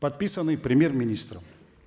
подписанный премьер министром